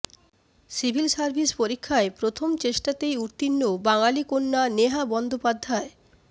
civil services পরীক্ষায় প্রথম চেষ্টাতেই উত্তীর্ণ বাঙালি কন্যা নেহা বন্দ্যোপাধ্যায়